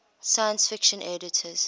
science fiction editors